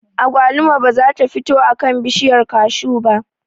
Agwaluma ba za ta fito a kan bishiyar kashu ba